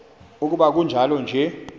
ukuba kunjalo ke